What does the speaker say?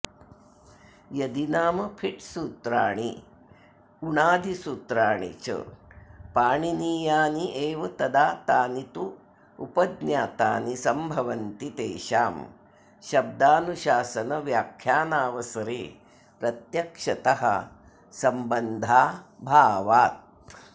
यदि नाम फिट्सूत्राणि उणादिसूत्राणि च पाणिनीयान्येव तदा तानि तु उपज्ञातानि सम्भवन्ति तेषां शब्दानुशासनव्याख्यानावसरे प्रत्यक्षतः सम्बन्धाभावात्